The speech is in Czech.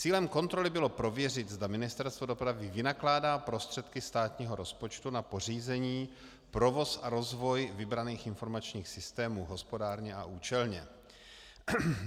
Cílem kontroly bylo prověřit, zda Ministerstvo dopravy vynakládá prostředky státního rozpočtu na pořízení, provoz a rozvoj vybraných informačních systémů hospodárně a účelně.